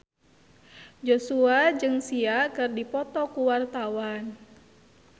Joshua jeung Sia keur dipoto ku wartawan